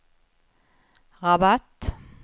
Rabat